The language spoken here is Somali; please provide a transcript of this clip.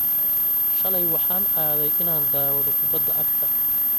shalay waxaan aaday inaan daawado kubbadda cagta.